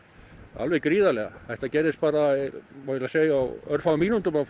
alveg gríðarlega þetta gerðist bara á örfáum mínútum að